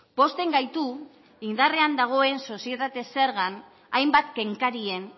pozten gaitu indarrean dagoen sozietate zergan hainbat kenkarien